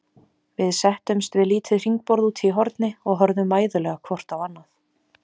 Við settumst við lítið hringborð úti í horni og horfðum mæðulega hvort á annað.